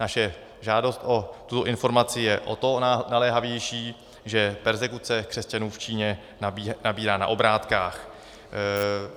Naše žádost o tuto informaci je o to naléhavější, že perzekuce křesťanů v Číně nabírá na obrátkách.